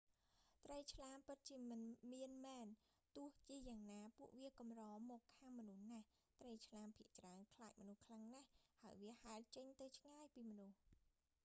ត្រីឆ្លាមពិតជាមានមែន ទោះជាយ៉ាងណាពួកវាកម្រមកខាំមនុស្សណាស់ ត្រីឆ្លាមភាគច្រើនខ្លាចមនុស្សខ្លាំងណាស់ ហើយវាហែលចេញទៅឆ្ងាយពីមនុស្ស